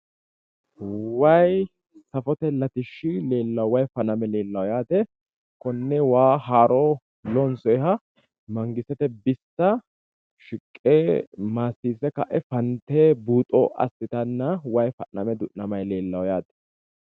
Wayi safote latishshi leellawo yaate, wayi faname leelawo yaate, konne waa haaroo loonsoyiiha mangistete bissa shiqqe maassiisse ka'e buuxo assitanni afanttanno yaate.